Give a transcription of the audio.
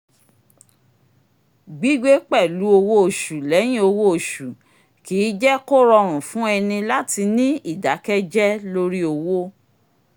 gbigbé pẹ̀lú owó oṣù lẹ́yìn owó oṣù kì í jé kó rọrùn fún ẹni láti ní ìdákẹ́jẹ lórí owó